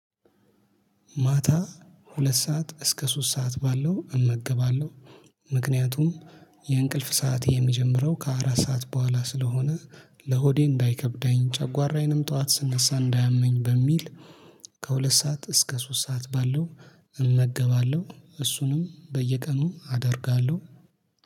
ማታ ሁለት ሰዓት እስከ ሶስት ሰዓት ባለው እመገባለሁ ምክንያቱም የእንቅልፍ ሰዓት የሚጀምረው ከአራት ሰዓት በኋላ ስለሆነ ለሆዴ እንዳይከብደኝ ጨጓራዬንም ጠዋት ስነሳ እንዳያመኝ በሚል ከሁለት ሰዓት እስከ ሶስት ሰዓት ባለው እመገባለሁ። እሱንም በየቀኑ አደርጋለሁ